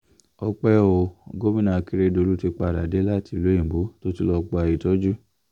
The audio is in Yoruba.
ọ̀pẹ̀ ò gomina akérèdólú ti padà dé láti ìlú òyìnbó tó ti lọ́ọ́ gba ìtọ́jú